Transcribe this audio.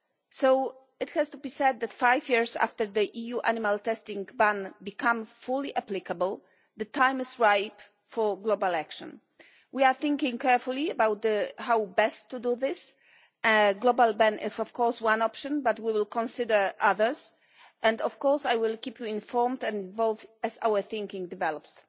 So, it has to be said that five years after the EU animal testing ban became fully applicable, the time is ripe for global action. We are thinking carefully about how best to do this. A global ban is of course one option, but we will consider others, and I will keep you informed and involved as our thinking develops.